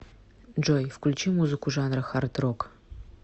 джой включи музыку жанра хардрок